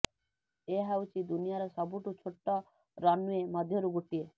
ଏହା ହେଉଛି ଦୁନିଆର ସବୁଠୁ ଛୋଟ ରନ୍ୱେ ମଧ୍ୟରୁ ଗୋଟିଏ